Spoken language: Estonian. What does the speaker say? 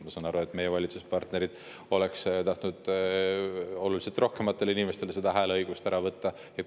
Ma saan aru, et meie valitsuspartnerid oleksid tahtnud oluliselt rohkematelt inimestelt seda hääleõigust ära võtta.